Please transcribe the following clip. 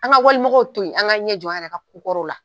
An ka wali mɔgɔw to yen, an k'an ɲɛ jɔ an yɛrɛ ka ko kɔrɔw la.